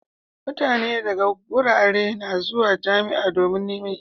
Mutane daga garuruwa na zuwa jamia domin Neman ilimi